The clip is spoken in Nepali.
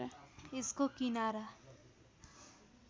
यसको किनारा